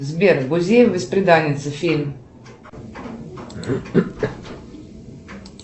сбер гузеева бесприданница фильм